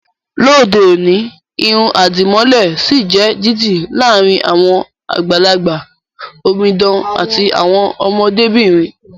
Lóde òní, irun àdìmọ́lẹ̀ sì ń jẹ́ dídì láàrin àwọn àgbàlagbà, omidan àti àwọn ọmọdé bìnrin